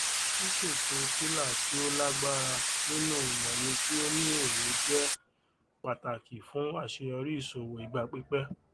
ṣísètò pillar tí ó lágbára nínú ìmọye tí ó ní èrè jẹ pàtàkì fún aṣeyọrí ìṣòwò ìgbà pípẹ